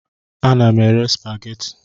Ana m ere supageti.